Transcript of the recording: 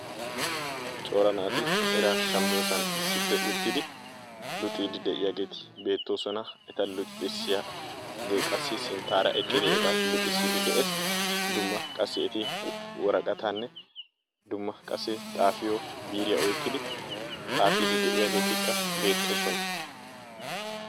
Cora naati eraa shammiyosan issippe shiiqidi uttidaageeti beettoosona. Eta luxissiyagee qassi sinttaara eqqidi eta luxissiiddi de'ees. Dumma qassi eti woraqataanne dumma qassi xaafiyo biiriya oykkidi xaafiiddi de'iyageeti beettoosona.